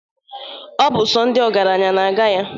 Ọ bụ sọ ndị ọgaranya na-aga ya.